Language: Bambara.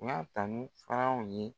U b'a tanu f'anw ye